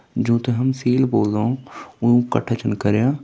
ज्यों ते हम सील बोल्दाे वो कठ्ठा छन करयां |